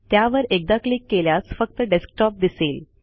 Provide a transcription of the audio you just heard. त्यावर एकदा क्लिक केल्यास फक्त डेस्कटॉप दिसेल